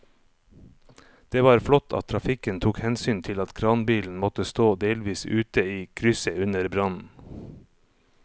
Det var flott at trafikken tok hensyn til at kranbilen måtte stå delvis ute i krysset under brannen.